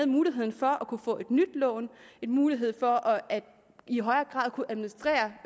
muligheden for at kunne få et nyt lån og en mulighed for i højere grad at kunne administrere